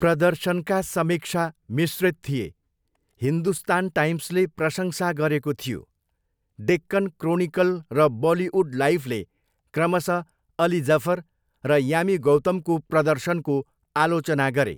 प्रदर्शनका समीक्षा मिश्रित थिए, हिन्दुस्तान टाइम्सले प्रशंसा गरेको थियो, डेक्कन क्रोनिकल र बलिउड लाइफले क्रमशः अली जफर र यामी गौतमको प्रदर्शनको आलोचना गरे।